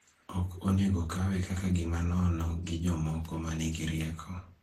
ok onego okawe kaka gima nono gi jomoko ma nigi rieko